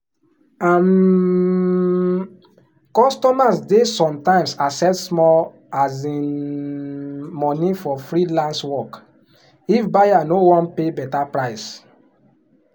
um customers dey sometimes accept small um money for freelance work if buyer no wan pay better price.